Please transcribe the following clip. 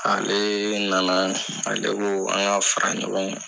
Ale na na ale ko an ka fara ɲɔgɔn kan.